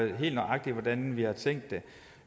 i helt nøjagtigt hvordan vi har tænkt det